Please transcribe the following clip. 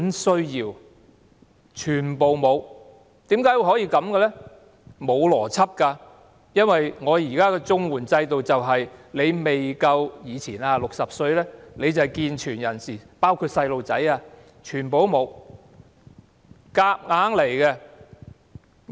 是沒有邏輯的，因為在綜援制度下，以前如果你未夠60歲，你便是健全人士，包括小孩，全部不合資格。